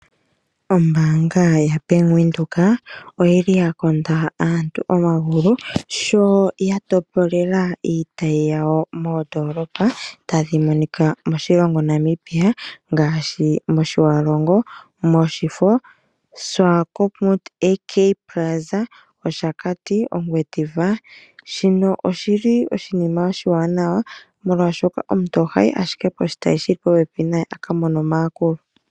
Ombanga yaBank Windhoek oyili yakonda aantu omagulu sho yatopolela iitayi yawo moondolopa tadhimonika moshilongo Namibia ngaashi moTjiwarongo, moShifo, moSwakopmund AK Plaza, moShakati no moNgwediva shino oshili oshinima oshiwanawa molwaashoka omuntu ohayi ashike poshitayi shoka shili popepi naye ye ekiimonene omayakulo.